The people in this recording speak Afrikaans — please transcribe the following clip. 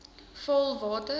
vaalwater